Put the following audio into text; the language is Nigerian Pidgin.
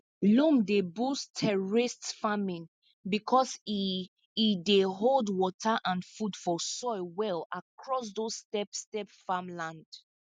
loam dey boost terraced farming because e e dey hold water and food for soil well across those stepstep farmland